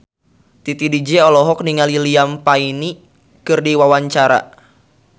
Titi DJ olohok ningali Liam Payne keur diwawancara